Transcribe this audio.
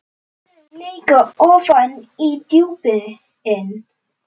Þau leka ofan í djúpin.